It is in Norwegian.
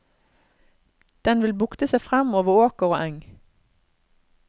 Den vil bukte seg frem over åker og eng.